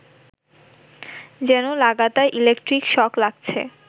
যেন লাগাতার electric shock লাগছে